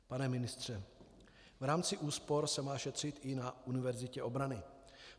Pane ministře, v rámci úspor se má šetřit i na Univerzitě obrany.